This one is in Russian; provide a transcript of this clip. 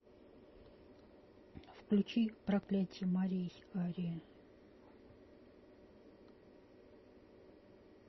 включи проклятье морей ария